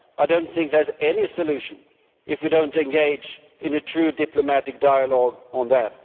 I do not think there is any solution if we do not engage in a true diplomatic dialogue on that.